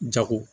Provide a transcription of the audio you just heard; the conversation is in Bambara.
Jago